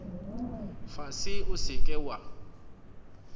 fase o se ke wa